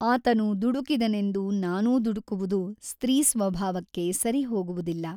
ಆತನು ದುಡುಕಿದನೆಂದು ನಾನೂ ದುಡುಕುವುದು ಸ್ತ್ರೀಸ್ವಭಾವಕ್ಕೆ ಸರಿಹೋಗುವುದಿಲ್ಲ.